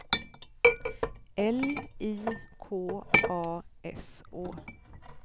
L I K A S Å